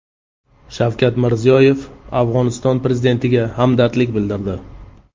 Shavkat Mirziyoyev Afg‘oniston Prezidentiga hamdardlik bildirdi.